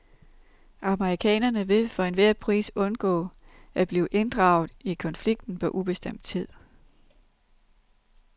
Amerikanerne vil for enhver pris undgå at blive draget ind i konflikten på ubestemt tid.